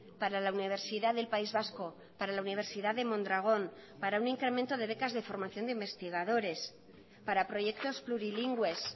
para la universidad del país vasco para la universidad de mondragón para un incremento de becas de formación de investigadores para proyectos plurilingües